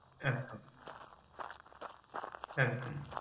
হ্যাঁ একদম